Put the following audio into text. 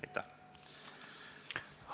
Aitäh!